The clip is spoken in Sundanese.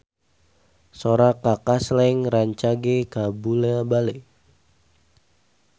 Sora Kaka Slank rancage kabula-bale